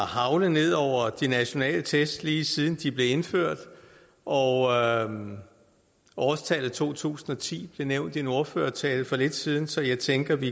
haglet ned over de nationale test lige siden de blev indført og årstallet to tusind og ti blev nævnt i en ordførertale for lidt siden så jeg tænker at vi